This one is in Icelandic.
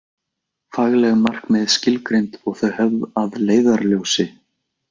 Fagleg markmið skilgreind og þau höfð að leiðarljósi.